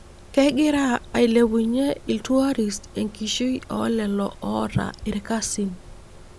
Kegira ailepunyie iltuarist enkishui oolelo oota irkasin .